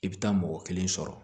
I bɛ taa mɔgɔ kelen sɔrɔ